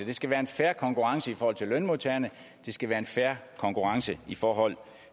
det skal være en fair konkurrence i forhold til lønmodtagerne og det skal være en fair konkurrence i forhold